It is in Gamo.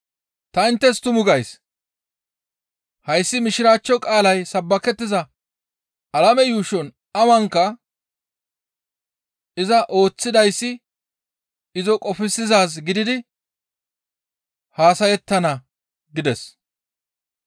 Ta inttes tumu gays; hayssi Mishiraachcho qaalay sabbakettiza alame yuushon awanka iza ooththidayssi izo qofsizaaz gididi haasayettana» gides.